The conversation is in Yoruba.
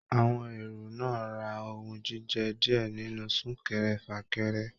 Àwọn èrò náà rà ohùn jíjẹ diẹ nínú sunkẹ́rẹ́-fakẹ́rẹ́.